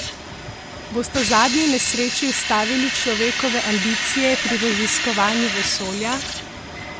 Bosta zadnji nesreči ustavili človekove ambicije pri raziskovanju vesolja?